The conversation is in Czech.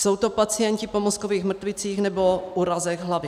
Jsou to pacienti po mozkových mrtvicích nebo úrazech hlavy.